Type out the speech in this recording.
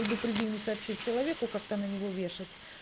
предупредив не сообщив человеку как-то на него вешать